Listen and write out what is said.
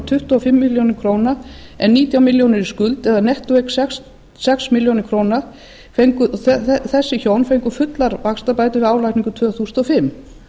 tuttugu og fimm milljónir króna en nítján milli skuld eða nettóeign sex milljónir króna þessi hjón fengu fullar vaxtabætur við álagningu tvö þúsund og fimm